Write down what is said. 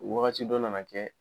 Wagati dɔ nana kɛ